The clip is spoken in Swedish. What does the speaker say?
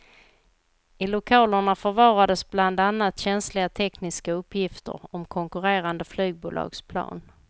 I lokalerna förvarades bland annat känsliga tekniska uppgifter om konkurrerande flygbolags plan.